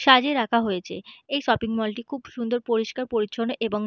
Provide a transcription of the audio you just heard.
সাজিয়ে রাখা হয়েছে এই শপিং মল -টি খুবই পরিস্কার পরিচ্ছন্ন এবং --